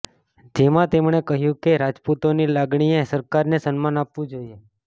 જેમાં તેમણે કહ્યું કે રાજપૂતોની લાગણીએ સરકારે સન્માન આપવું જોઈએ